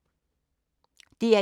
DR1